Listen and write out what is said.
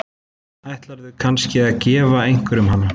Ætlarðu kannski að gefa einhverjum hana?